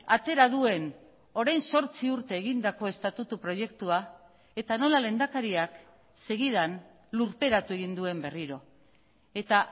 atera duen orain zortzi urte egindako estatutu proiektua eta nola lehendakariak segidan lurperatu egin duen berriro eta